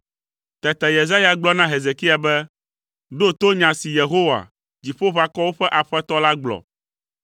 Tete Yesaya gblɔ na Hezekia be, “Ɖo to nya si Yehowa, Dziƒoʋakɔwo ƒe Aƒetɔ la gblɔ.